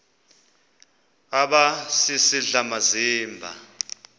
aba sisidl amazimba